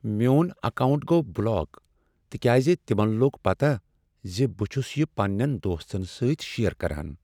میون اکاونٹ گوٚو بلاک تکیاز تمن لوٚگ پتہ ز بہٕ چھس یہ پننین دوستن سۭتۍ شیر کران۔